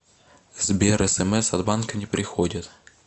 сбер смс от банка не приходят